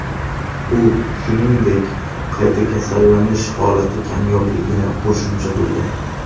U, shuningdek, qayta kasallanish holati kamyobligini qo‘shimcha qilgan.